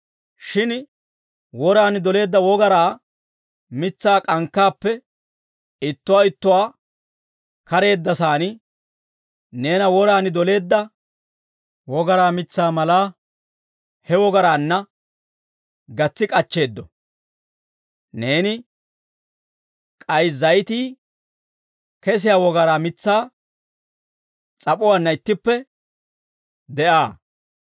Shin woraan doleedda wogaraa mitsaa k'ankkaappe ittuwaa ittuwaa kareeddasaan, neena woraan doleedda wogaraa mitsaa mallaa he wogaraanna gatsi k'achcheeddo; neeni k'ay zayitii kesiyaa wogaraa mitsaa s'ap'uwaanna ittippe de'aa.